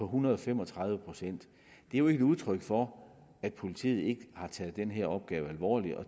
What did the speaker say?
hundrede og fem og tredive procent det er jo ikke udtryk for at politiet ikke har taget den her opgave alvorligt